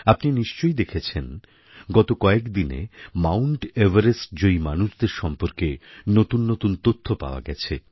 আপনি নিশ্চয়ই দেখেছেন গত কয়েকদিনে মাউণ্ট এভারেস্টজয়ী মানুষদের সম্পর্কে নতুন নতুন তথ্য পাওয়া গেছে